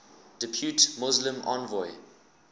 depute muslim envoy